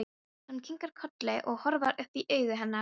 Hann kinkar kolli og horfir upp í augu hennar.